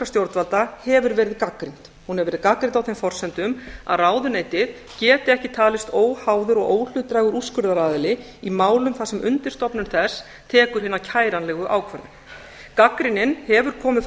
stjórnvalda hefur verið gagnrýnd hún hefur verið gagnrýnd á þeim forsendum að ráðuneytið geti ekki talist óháður og óhlutdrægur úrskurðaraðili í málum þar sem undirstofnun þess tekur hina kæranlegu ákvörðun gagnrýnin hefur komið frá